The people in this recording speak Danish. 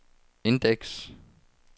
indeks